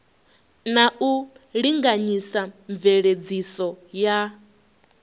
na u linganyisa mveledziso ya